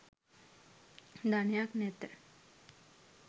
ධනයක් නැත